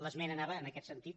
l’esmena anava en aquest sentit